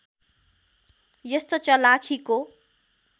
यस्तो चलाखीको